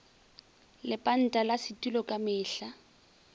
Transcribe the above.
lepanta la setulo ka mehla